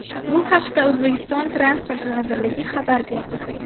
Bu haqda O‘zbekiston Transport vazirligi xabar berdi .